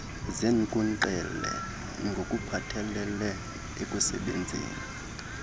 zeenkunkqele ngokuphathelele ekusebenzeni